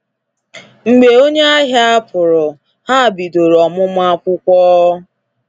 Mgbe onye ahia pụrụ, ha bidoro ọmụmụ akwụkwọ.